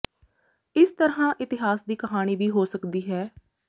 ਇਸ ਤਰ੍ਹਾਂ ਇਤਿਹਾਸ ਦੀ ਕਹਾਣੀ ਵੀ ਹੋ ਸਕਦੀ ਹੈ